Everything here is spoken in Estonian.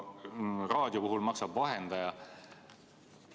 Raadio puhul maksab vahendaja.